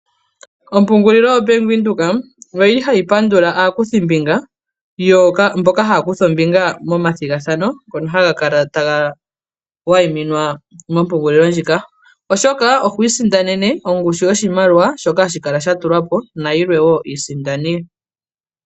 Ompungulilo yo Bank Windhoek oyili hayi pandula aakuthimbinga mboka haya kutha ombinga methigathano ngono haga kala taga wayiminwa mompungulilo ndjika .Oshoka ohwiisindanene ongushu yoshimaliwa shoka hashi kala sha tulwapo nayilwe woo iisindani.